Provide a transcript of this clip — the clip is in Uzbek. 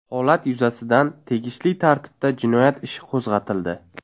Holat yuzasidan tegishli tartibda jinoyat ishi qo‘zg‘atildi.